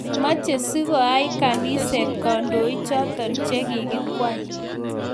Mache sikoai kinishiet kandoik chotok che kokikwei